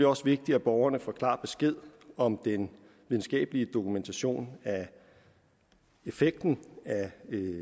også vigtigt at borgerne får klar besked om den videnskabelige dokumentation af effekten af